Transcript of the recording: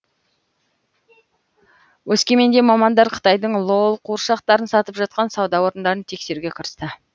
өскеменде мамандар қытайдың лол қуыршақтарын сатып жатқан сауда орындарын тексеруге кірісті